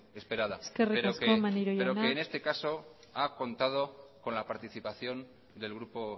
esperada eskerrik asko maneiro jauna pero que en este caso ha contado con la participación del grupo